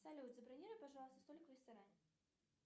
салют забронируй пожалуйста столик в ресторане